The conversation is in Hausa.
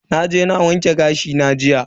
Naje na wanke gashi na jiya.